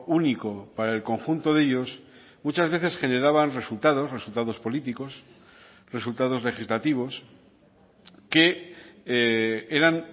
único para el conjunto de ellos muchas veces generaban resultados resultados políticos resultados legislativos que eran